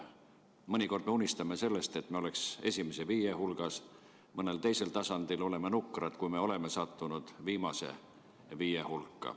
Mõnikord unistame sellest, et me oleks esimese viie hulgas, mõnel teisel tasandil oleme nukrad, kui oleme sattunud viimase viie hulka.